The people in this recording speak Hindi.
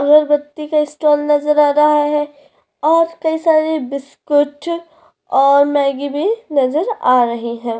अगरबत्ती का स्टॉल नज़र आ रहा हैं और कई सारी बिस्कुट और मैगी भी नज़र आ रही हैं।